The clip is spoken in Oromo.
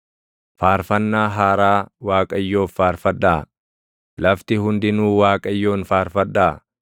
Faarfannaa haaraa Waaqayyoof faarfadhaa; lafti hundinuu Waaqayyoon faarfadhaa.